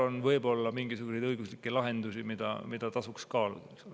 On võib-olla mingisuguseid õiguslikke lahendusi, mida tasuks kaaluda.